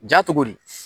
Ja cogo di